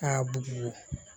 A bugu